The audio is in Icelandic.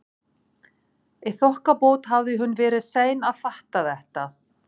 Í þokkabót hafði hún verið sein að fatta þetta.